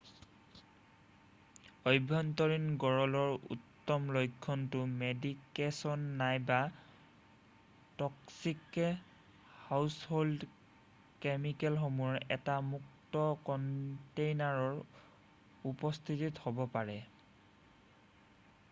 আভ্যন্তৰীণ গৰলৰ উত্তম লক্ষণটো মেডিকেছন নাইবা ট'ক্সিক হাউছহ'ল্ড কেমিকেলসমূহৰ এটা মুক্ত কন্টেইনাৰৰ উপস্থিতি হ'ব পাৰে৷